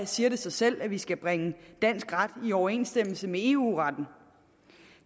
siger det sig selv at vi skal bringe dansk ret i overensstemmelse med eu retten